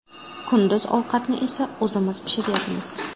Kunduz ovqatni esa o‘zimiz pishiryapmiz.